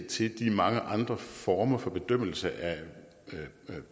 til de mange andre former for bedømmelse af